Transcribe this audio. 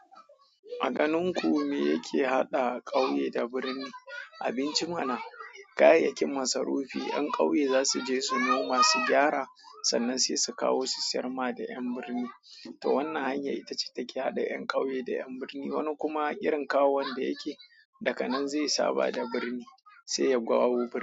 A ganin ku me yake haɗa ƙauye da birni? Abinci mana. Kayayyakin masarufi, 'yan ƙauye za su je su noma su gyara sannan sai su kawo su sayar ma da 'yan birni. To wannan hanyar ita ce take haɗa 'yan ƙauye da 'yan birni. Wani kuma irin kawon da yake, daga nan zai saba da birni sai ya gawo birni.